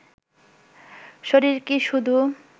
শরীর কি শুধু